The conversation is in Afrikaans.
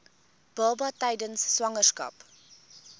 baba tydens swangerskap